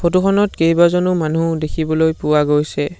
Photo খনত কেইবাজনো মানুহ দেখিবলৈ পোৱা গৈছে।